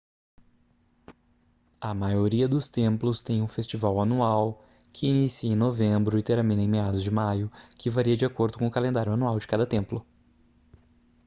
a maioria dos templos tem um festival anual que inicia em novembro e termina meados de maio que varia de acordo com o calendário anual de cada templo